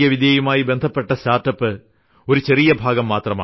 യുമായി ബന്ധുപ്പെട്ട സ്റ്റാർട്ട്അപ്പ് ഒരു ചെറിയ ഭാഗം മാത്രമാണ്